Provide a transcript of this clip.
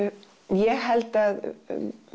ég held að